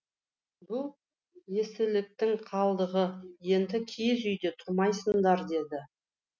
бұл ескіліктің қалдығы енді киіз үйде тұрмайсыңдар деді